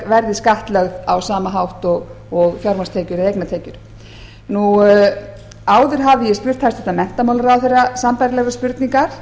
verði skattlögð á sama hátt og fjármagnstekjur eða eignatekjur áður hafði ég spurt hæstvirtur menntamálaráðherra sambærilegrar spurningar